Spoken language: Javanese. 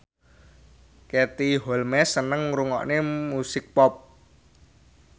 Katie Holmes seneng ngrungokne musik pop